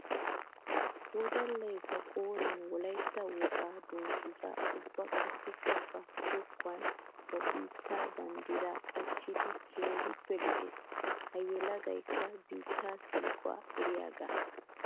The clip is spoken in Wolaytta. Wodallay ba qooriyan wolaytta wogaa dungguza ubba qassikka ba zokkuwaani ba biitta banddira qachchiddi keehippe lo'ees. Ha yelagaykka biitta siiquwaa eriyaaga.